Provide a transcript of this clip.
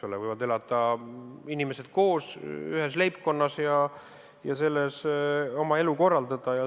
Inimesed võivad elada koos ühes leibkonnas ja seal oma elu korraldada.